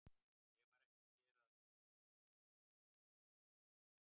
Ég var ekki að gera að gamni mínu, sagði Emil aumur.